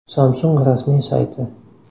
Samsung rasmiy sayti.